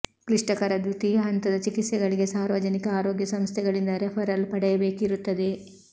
ಕ್ಲಿಷ್ಟಕರ ದ್ವಿತೀಯ ಹಂತದ ಚಿಕಿತ್ಸೆಗಳಿಗೆ ಸಾರ್ವಜನಿಕ ಆರೋಗ್ಯ ಸಂಸ್ಥೆಗಳಿಂದ ರೆಫರಲ್ ಪಡೆಯಬೇಕಿರುತ್ತದೆ